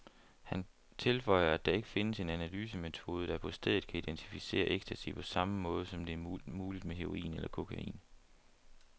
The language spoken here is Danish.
Han tilføjer, at der ikke findes en analysemetode, der på stedet kan identificere ecstasy på samme måde, som det er muligt med heroin eller kokain.